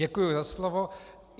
Děkuji za slovo.